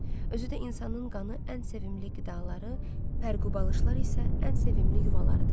Özü də insanın qanı ən sevimli qidaları, pərqu balışlar isə ən sevimli yuvalarıdır.